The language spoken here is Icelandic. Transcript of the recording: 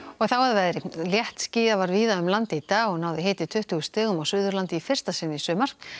þá að veðri léttskýjað var víða um land í dag og náði hiti tuttugu stigum á Suðurlandi í fyrsta sinn í sumar